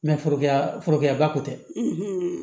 foroyɛrɛ foroya ba ko tɛ